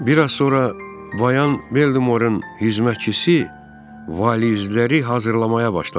Bir az sonra Bayan Bellimorenin xidmətçisi valizləri hazırlamağa başladı.